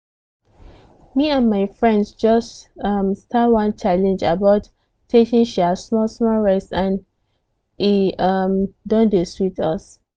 me and my friends just um start one challenge about taking um small-small rest and e um don dey sweet us.